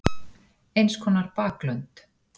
Eins konar baklönd.